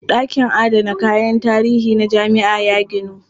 Ɗakin adana kayan tarihi na jami'a ya ginu.